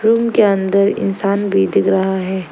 Room के अंदर इंसान भी दिख रहा है।